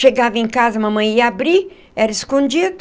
Chegava em casa, mamãe ia abrir, era escondido.